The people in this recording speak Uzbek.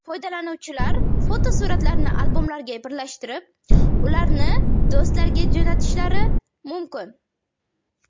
Foydalanuvchilar fotosuratlarni albomlarga birlashtirib, ularni do‘stlariga jo‘natishlari mumkin.